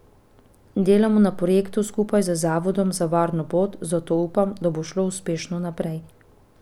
Delamo na projektu skupaj z Zavodom za varno pot, zato upam, da bo šlo uspešno naprej.